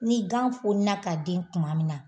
N'i gan foni na ka den kuma min na